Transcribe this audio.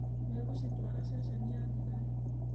Megũcitwara ceceni-inĩ ya thigari.